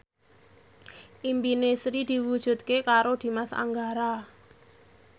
impine Sri diwujudke karo Dimas Anggara